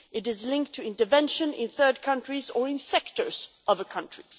it is linked to intervention in third countries or in sectors of the country.